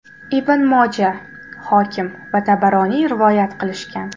Ibn Moja, Hokim va Tabaroniy rivoyat qilishgan.